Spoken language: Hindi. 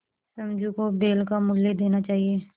समझू को बैल का मूल्य देना चाहिए